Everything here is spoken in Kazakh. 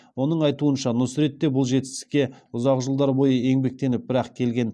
оның айтуынша нұсрет те бұл жетістікке ұзақ жылдар бойы еңбектеніп бір ақ келген